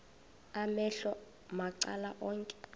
amehlo macala onke